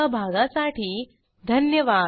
सहभागासाठी धन्यवाद